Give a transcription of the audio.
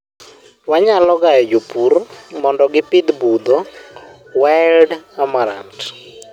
wanyalo gayo jopur mondo gipidh budho, wild amarant